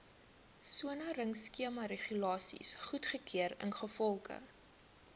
soneringskemaregulasies goedgekeur ingevolge